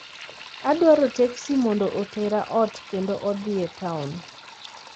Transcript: Adwaro teksi mondo otera ot kendo odhi e taon